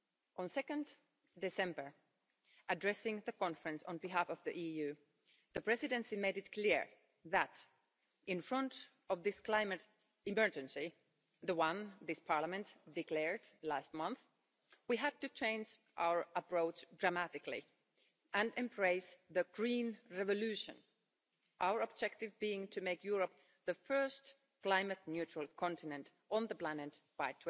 On 2 December, addressing the conference on behalf of the EU, the Presidency made it clear that, in front of this climate emergency the one this Parliament declared last month we had to change our approach dramatically and embrace the green revolution. Our objective being to make Europe the first climate-neutral continent on the planet by